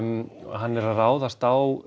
hann er að ráðast á